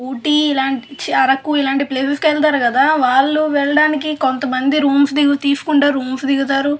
ఊటీ లాంటి చి అరకు ఇలాంటి ప్లేస్ కి వెళ్తారు కదా వాళ్ళు వెళ్ళడానికి కొంత మంది రూమ్స్ తీసుకుంటారు రూమ్స్ దిగుతారు.